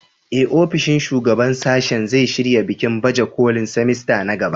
Ee, ofishin shugaban sashe zai shirya bikin baje kolin semester na gaba.